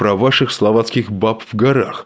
про ваших словацких баб в горах